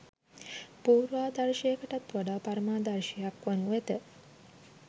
පූර්වාදර්ශයකටත් වඩා පරමාදර්ශයක් වනු ඇත